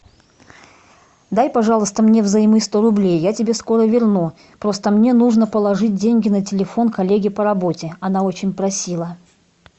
дай пожалуйста мне взаймы сто рублей я тебе скоро верну просто мне нужно положить деньги на телефон коллеге по работе она очень просила